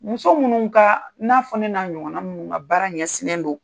Muso minnu ka i n'a fɔ ne n'a ɲɔgɔna minnu ka baara ɲɛsin don